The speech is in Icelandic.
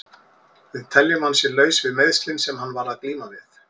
Við teljum að hann sé laus við meiðslin sem hann var að glíma við.